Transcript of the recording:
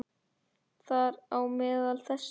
Þar á meðal þessir